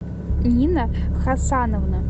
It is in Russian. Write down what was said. нина хасановна